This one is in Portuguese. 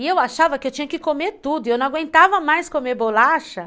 E eu achava que eu tinha que comer tudo, e eu não aguentava mais comer bolacha.